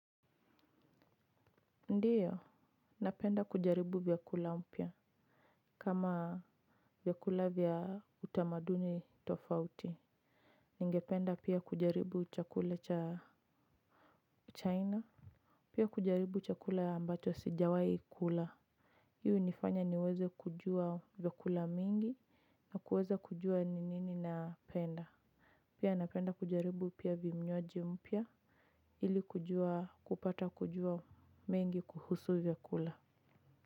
Ndiyo, napenda kujaribu vyakula mpya. Kama vyakula vya utamaduni tofauti. Ningependa pia kujaribu chakula cha China. Pia kujaribu chakula ambacho sijawahi kula. Hii hunifanya niweze kujuwa vyakula mengi na kuweza kujuwa ni nini napenda. Pia napenda kujaribu pia vinywaji mpya. Ili kujuwa, kupata kujuwa mengi kuhusu vyakula.